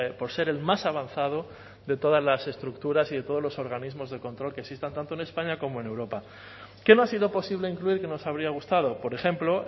por ser el más avanzado de todas las estructuras y de todos los organismos de control que existan tanto en españa como en europa qué no ha sido posible incluir que nos habría gustado por ejemplo